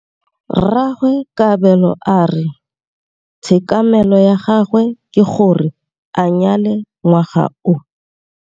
Rragwe Kabelo a re tshekamêlô ya gagwe ke gore a nyale ngwaga o.